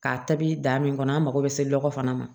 K'a tabi da min kɔnɔ an mago bɛ se lɔgɔ fana ma